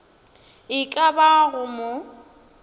e ka ba go mo